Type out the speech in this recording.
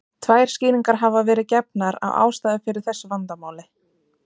Tvær skýringar hafa verið gefnar á ástæðu fyrir þessu vandamáli.